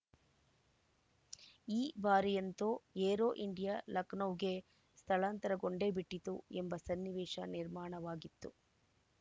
ಈ ಬಾರಿಯಂತೂ Aero India ಲಖನೌಗೆ ಸ್ಥಳಾಂತರಗೊಂಡೇ ಬಿಟ್ಟಿತು ಎಂಬ ಸನ್ನಿವೇಶ ನಿರ್ಮಾಣವಾಗಿತ್ತು